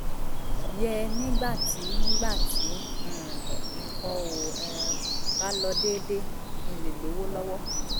yẹ nígbà tí nígbà tí um nǹkan ò um bá lọ déédé kí n lè lówó lọ́wọ́